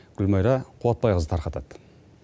гүлмайра қуатбайқызы тарқатады